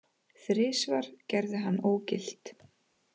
Þrisvar gerði hann ógilt